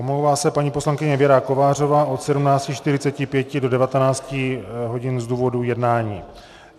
Omlouvá se paní poslankyně Věra Kovářová od 17.45 do 19 hodin z důvodu jednání.